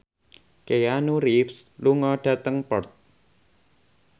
Keanu Reeves lunga dhateng Perth